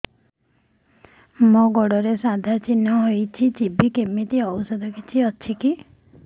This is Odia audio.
ମୋ ଗୁଡ଼ରେ ସାଧା ଚିହ୍ନ ହେଇଚି ଯିବ କେମିତି ଔଷଧ କିଛି ଅଛି